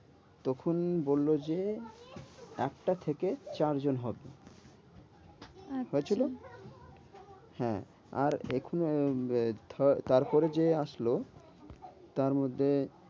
তখন বললো যে একটা থেকে চার জন হবে। আচ্ছা হয়েছিল? হ্যাঁ আর এখনো তারপরে যে আসলো তারমধ্যে